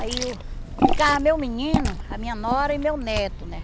Aí ficava meu menino, a minha nora e meu neto, né?